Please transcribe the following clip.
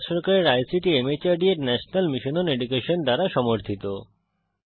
এটি ভারত সরকারের আইসিটি মাহর্দ এর ন্যাশনাল মিশন ওন এডুকেশন দ্বারা সমর্থিত